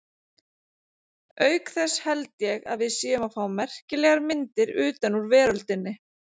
Auk þess held ég að við séum að fá merkilegar myndir utan úr veröldinni.